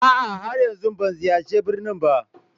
A'a, har yanzu ban ziyarci birnin ba